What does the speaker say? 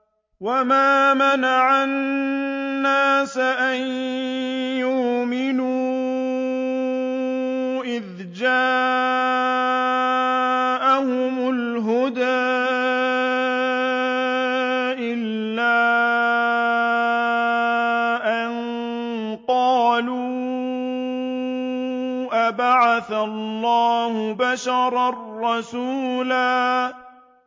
وَمَا مَنَعَ النَّاسَ أَن يُؤْمِنُوا إِذْ جَاءَهُمُ الْهُدَىٰ إِلَّا أَن قَالُوا أَبَعَثَ اللَّهُ بَشَرًا رَّسُولًا